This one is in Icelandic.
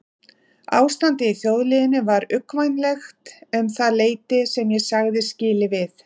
Ástandið í þjóðlífinu var uggvænlegt um það leyti sem ég sagði skilið við